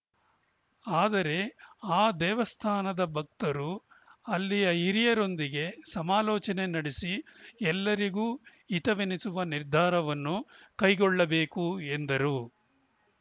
ಆದರೆ ಆ ದೇವಸ್ಥಾನದ ಭಕ್ತರು ಅಲ್ಲಿಯ ಹಿರಿಯರೊಂದಿಗೆ ಸಮಾಲೋಚನೆ ನಡೆಸಿ ಎಲ್ಲರಿಗೂ ಹಿತವೆನಿಸುವ ನಿರ್ಧಾರವನ್ನು ಕೈಗೊಳ್ಳಬೇಕು ಎಂದರು